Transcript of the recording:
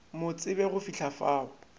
mo tsebe go fihla fao